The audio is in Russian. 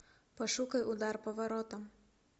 пошукай удар по воротам